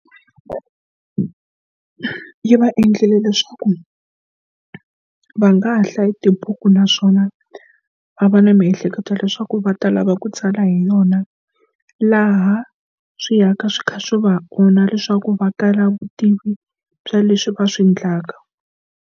Yi va endlile leswaku va nga hlaya tibuku naswona va va na miehleketo leswaku va ta lava ku tsala hi yona laha swi ya ka swi kha swi va onha leswaku va tala vutivi bya leswi va swi endlaka.